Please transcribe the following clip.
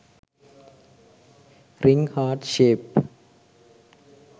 ring heart shape